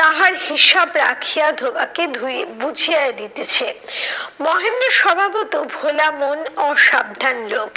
তাহার হিসাব রাখিয়া ধোবাকে ধুয়ে বুঝিয়া দিতেছে। মহেন্দ্রের স্বভাবত ভোলা মন অসাবধান লোক